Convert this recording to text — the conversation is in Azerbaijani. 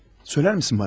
Söyler misin bana?